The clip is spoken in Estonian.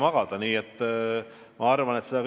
Seda kõike tuleb tasakaalus hoida.